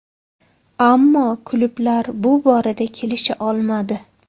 Ammo klublar bu borada kelisha olmadi.